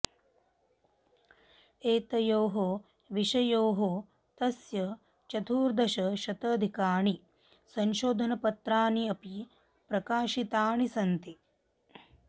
एतयोः विषययोः तस्य चतुर्दशशतधिकानि संशोधनपत्राणि अपि प्रकाशितानि सन्ति